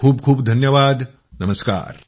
खूप खूप धन्यवाद नमस्कार